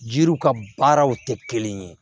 Yiriw ka baaraw tɛ kelen ye